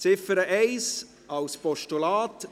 Ziffer 1 als Postulat: